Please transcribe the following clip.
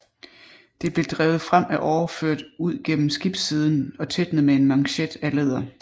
Det blev drevet frem af årer ført ud gennem skibssiden og tætnet med en manchet af læder